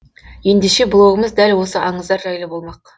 ендеше блогымыз дәл осы аңыздар жайлы болмақ